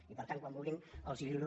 i per tant quan vulguin els lliuro